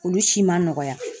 Olu si ma nɔgɔya.